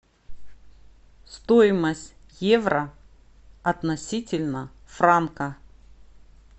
стоимость евро относительно франка